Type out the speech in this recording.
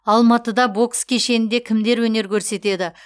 алматыда бокс кешенінде кімдер өнер көрсетеді